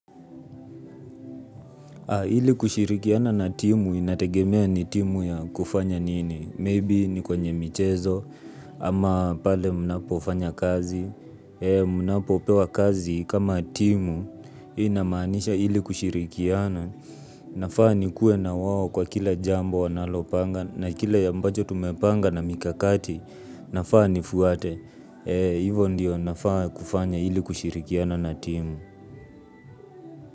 Ili kushirikiana na timu inategemea ni timu ya kufanya nini? Maybe ni kwenye michezo ama pale mnapo fanya kazi. Mnapo pewa kazi kama timu hiyo inamanisha ili kushirikiana. Nafaa ni kuwe na wao kwa kila jambo wanalopanga na kile ambacho tumepanga na mikakati nafaa nifuate. Hivo ndio nafaa kufanya ili kushirikiana na timu.